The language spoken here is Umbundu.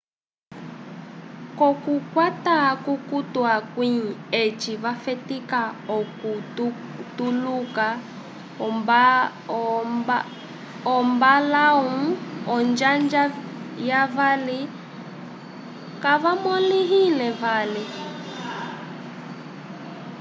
k'okukwata akukutu akwĩ eci vafetika okutuluka ombalãwu onjanja yavali kayamõliwile vali